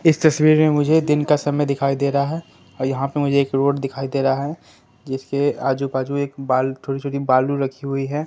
इस तस्वीर में मुझे दिन का समय दिखाई दे रहा है और यहां पे मुझे एक रोड दिखाई दे रहा है जिसके आजू बाजू एक बाल छोटी छोटी बालू रखी हुई है।